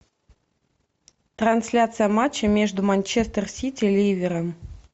трансляция матча между манчестер сити ливером